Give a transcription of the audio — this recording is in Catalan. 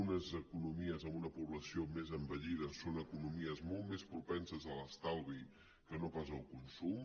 unes economies amb una població més envellida són economies molt més propenses a l’estalvi que no pas al consum